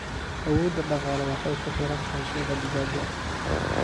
Awoodda dhaqaale waxay ku xiran tahay suuqa digaaga.